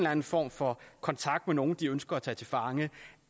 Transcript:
anden form for kontakt med nogen de ønsker at tage til fange